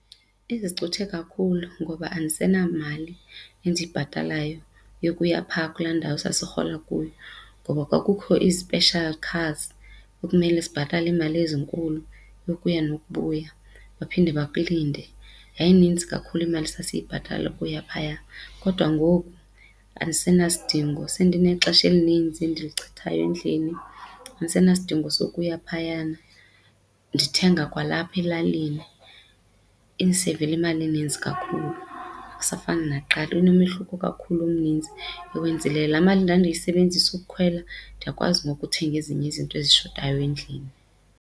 Izicuthe kakhulu ngoba andisenamali endiyibhatalayo yokuya phaa kulaa ndawo sasirhola kuyo ngoba kwakukho ii-special cars ekumele sibhatale iimali ezinkulu yokuya nokubuya baphinde bakulinde. Yayininzi kakhulu imali sasiyibhatala ukuya phaya kodwa ngoku andisena sidingo sendinexesha elinintsi endilichithayo endlini. Andisenasidingo sukuya phayana, ndithenga kwalapha elalini indiseyivele imali ininzi kakhulu. Akusafani nakuqala inomehluko kakhulu omninzi ewenzileyo. Laa mali ndandiyisebenzisa ukukhwela ndiyakwazi ngoku uthenga ezinye izinto ezishotayo endlini.